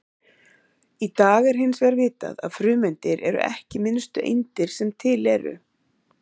Í dag er hins vegar vitað að frumeindir eru ekki minnstu eindir sem til eru.